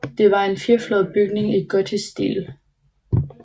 Det var en firefløjet bygning i gotisk stil